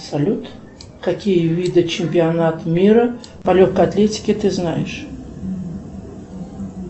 салют какие виды чемпионат мира по легкой атлетике ты знаешь